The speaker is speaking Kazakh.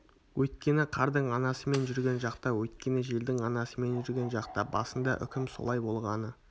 өйткені қардың анасы мен жүрген жақта өйткені желдің анасы мен жүрген жақта басында үкім солай болғаны